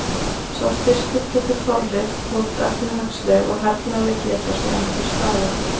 Sá styrkur getur þorrið þótt efnahagsleg og hernaðarleg geta sé enn til staðar.